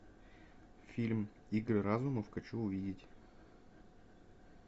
фильм игры разума хочу увидеть